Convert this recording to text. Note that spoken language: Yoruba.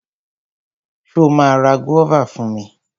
Ṣo ma ra gúọ́và fún mi?